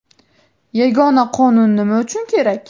Yagona Qonun nima uchun kerak?